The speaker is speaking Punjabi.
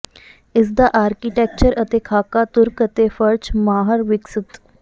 ਇਸ ਦਾ ਆਰਕੀਟੈਕਚਰ ਅਤੇ ਖਾਕਾ ਤੁਰਕ ਅਤੇ ਫ਼ਰਚ ਮਾਹਰ ਵਿਕਸਤ